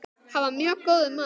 Hann var mjög góður maður.